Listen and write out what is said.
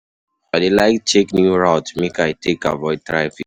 I dey like check new routes make I take avoid traffic.